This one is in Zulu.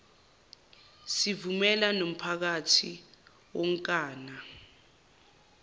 sivumela nomphakathi wonkana